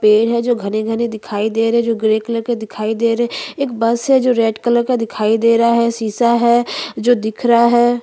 छोटा सा मंदिर दिख रहा है जो गुलाबी रंग का है उसके ऊपर एक झंडा है जो टंगा हुआ है और--